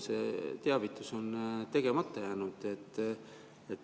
See teavitus on tegemata jäänud.